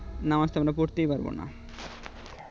নামাজ তো আমরা পড়তেই পারবো না